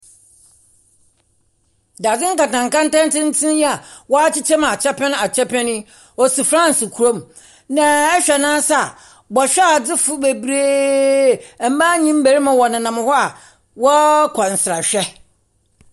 Dadze nkantan nkantan tsentsen yi a wakyekyɛ mu akyɛpɛn akyɛpɛn yi, osi Franse kurom. Na ɛhwɛ n'ase a, bɛhwadze fo bebree, mmaa nye mmɛrima wɔnenam hɔ a wɔkɔ nsrahwɛ.